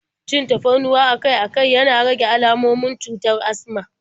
Cin tafarnuwa akai-akai yana rage almomin cutar asma